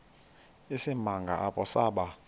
isimanga apho saba